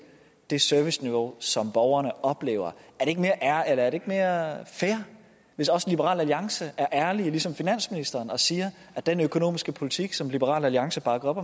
det serviceniveau som borgerne oplever er det ikke mere fair hvis også liberal alliance er ærlige ligesom finansministeren og siger at den økonomiske politik som liberal alliance bakker op